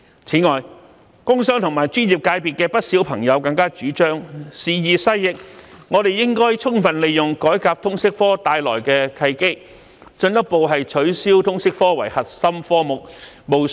此外，不少工商和專業界的朋友表示，時移世易，應充分利用改革通識科帶來的契機，進一步取消通識科為核心科目。